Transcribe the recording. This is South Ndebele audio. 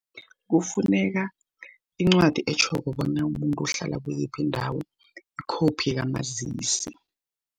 Kufuneka incwadi etjhoko bona umuntu uhlala kuyiphi indawo, ikhophi kamazisi.